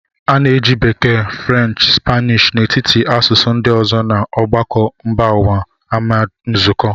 A na-eji Bekee, French, Spanish n'etiti asụsụ ndị ọzọ na ọgbakọ mba ụwa amd nzukọ.